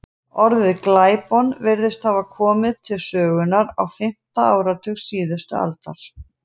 Orðið glæpon virðist hafa komið til sögunnar á fimmta áratug síðustu aldar.